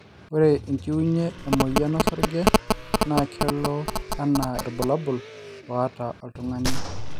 ore enchiunye e moyian osarge na kelo anaa irbulabul oota oltungani